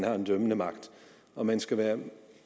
og en dømmende magt og man skal være